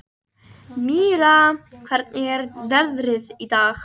Mirra, hvernig er veðrið í dag?